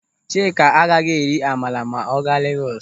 Chika agaghị eri amala ma ọ gaa Legọs.